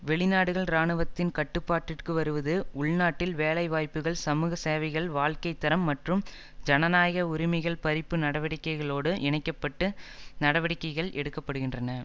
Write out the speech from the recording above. வெளிநாடுகள் இராணுவத்தின் கட்டுப்பாட்டிற்கு வருவது உள்நாட்டில் வேலை வாய்ப்புகள் சமூக சேவைகள் வாழ்க்கை தரம் மற்றும் ஜனநாயக உரிமைகள் பறிப்பு நடவடிக்கைகளோடு இணைக்க பட்டு நடவடிக்கைகள் எடுக்க படுகின்றன